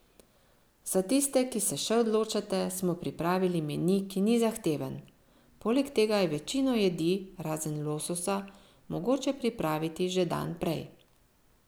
Za tiste, ki se še odločate, smo pripravili meni, ki ni zahteven, poleg tega je večino jedi, razen lososa, mogoče pripraviti že dan prej.